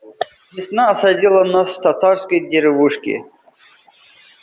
весна осадила нас в татарской деревушке